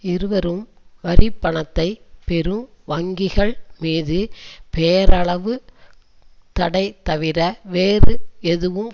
இருவரும் வரிப்பணத்தை பெறும் வங்கிகள் மீது பெயரளவு தடைதவிர வேறு ஏதும்